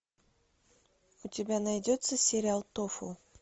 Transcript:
у тебя найдется сериал тофу